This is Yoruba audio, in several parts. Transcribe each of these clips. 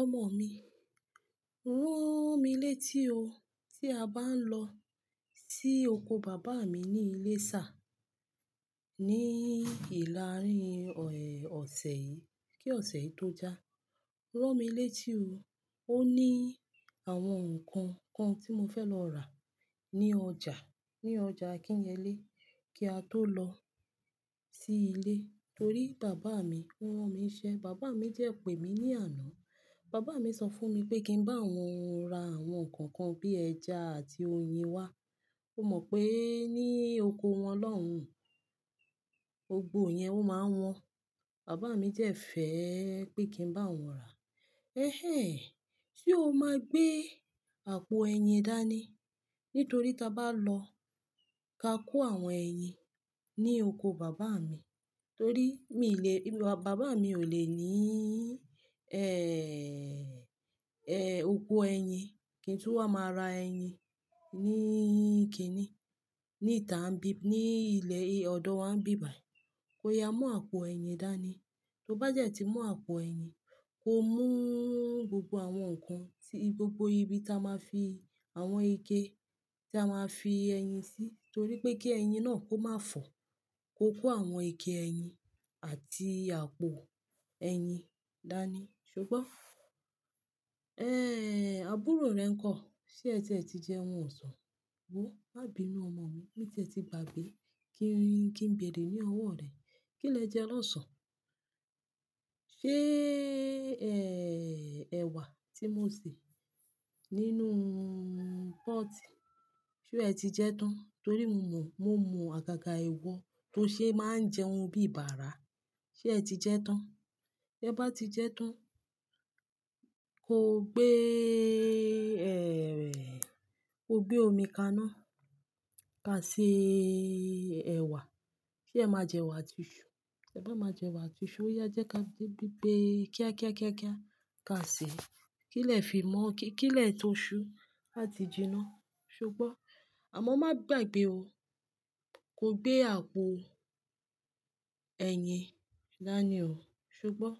Ọmọ mi, rán mi létí o tí a bá ń lọ sí oko Bàbá mi ní Ilésà ní ìlàárin ọ̀sẹ̀ yìí kí ọ̀sẹ̀ yìí tó já. Rán mi létí o. Ó ní àwọn nǹkan kan tí mo fẹ́ lọ rà ní ọjà ní ọjà Akinyele kí a tó lọ sí ilé torí Bàbá mi rán mi iṣẹ́. Bàbá mi dẹ́ pè mí ní àná. Bàbá mi sọ fún mi pé kí n bá wọn ra àwọn nǹkan kan bí ẹja àti oyin wá. Ó mọ̀ pé ní oko wọn lọ́hùn, gbògbo yẹn ó máa wọ́n. Bàbá mi jẹ́ fẹ́ pé kí n bá wọn rà. "Ẹ̀hẹ́ñ ehn, ṣe o máa gbé àpò ẹyin dání? Nítorí tí a bá lọ ka kó àwọn ẹyin ní oko Bàbá mi torí mi lè, Bàbá mi ò lè ní, ẹ́ẹ́, oko ẹyin. Kì í tún wà máa ra ẹyin ní kìnì. Ní ìtà n bí, ní ilẹ̀ ọ̀dọ̀ wa ń bí bài. Ko yá mú àpò ẹyin dání. Tó bá jẹ́ ti mú àpò ẹyin, ko mú gbogbo àwọn nǹkan tí gbogbo ibi tí a máa fi àwọn ike tí a máa fi ẹyin sí torí pé kí ẹyin náà kó má fọ́. Ko kó àwọn ike ẹyin àti àpò ẹyin dání, ṣo gbọ́. Ẹ́hẹ́n, àbúrò rẹ ńkọ́, ṣé ẹ ti jẹun ọ̀sán? Wò ó, má bí mí ọmọ mi. Mi ti ẹ ti gbagbé, kí n, ki n béèrè ní ọwọ́ rẹ. Kí lẹ jẹ lọ́sàn-án? Ṣé, ẹ́ẹ́, ẹ̀wà tí mo sè nínú pọ́otì, ṣe ẹ ti jẹ tán? Torí mo mọ̀, mo mọ àgàgà ìwọ tó ṣe máa ń jẹ oun bí bàrà. Ṣé ẹ ti jẹ tán? Tẹ bá ti jẹ tán, ko gbé, ẹ́ẹ́, ko gbé omi kaná ka se ẹ̀wà. Se ẹ má jẹ ẹ̀wà àti iṣu. Tẹ bá máa jẹ ẹ̀wà àti iṣu, ó yá e jẹ́ ká gbe kíá kíá kíá kíá, ka sè é. Kí lẹ̀ fi mó ó. Kí lẹ̀ to ṣu à ti jiná, ṣo gbọ́. Àmọ́ má gbàgbé o. Ko gbé àpò ẹyin dání o, ṣubọ́.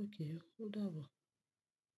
Ókè o, ó dàbọ̀